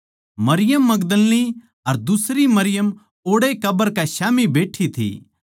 मरियम मगदलीनी अर दुसरी मरियम ओड़ैए कब्र कै स्याम्ही बैठी थी